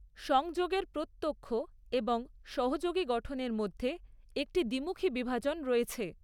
সংযোগের প্রত্যক্ষ এবং সহযোগী গঠনের মধ্যে একটি দ্বিমুখী বিভাজন রয়েছে।